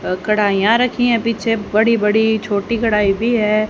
अ कढ़ाईयां रखी हैं पीछे बड़ी बड़ी छोटी कढ़ाई भी है।